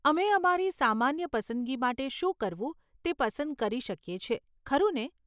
અમે અમારી સામાન્ય પસંદગી માટે શું કરવું તે પસંદ કરી શકીએ છીએ, ખરું ને?